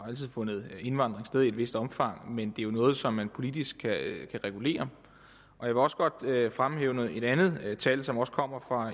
altid fundet indvandring sted i et vist omfang men det er jo noget som man politisk kan regulere jeg vil også godt fremhæve et andet tal som også kommer fra